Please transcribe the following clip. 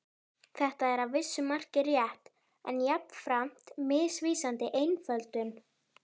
Þetta er að vissu marki rétt en jafnframt misvísandi einföldun.